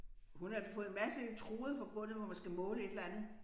Hun har fået en masse elektroder forbundet hvor man skal måle et eller andet